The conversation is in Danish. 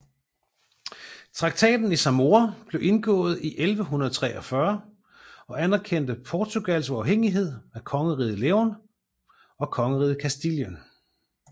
Traktaten i Zamora blev indgået i 1143 og anerkendte Portugals uafhængighed af Kongeriget León og Kongeriget Castilien